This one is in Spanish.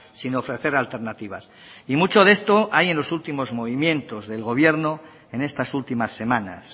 sin ofrecer alternativas y mucho de esto hay en los últimos movimientos del gobierno en estas últimas semanas